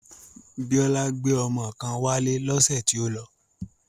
Biola gbé ọmọ kan wálé lọ́sẹ̀ tí ó lọ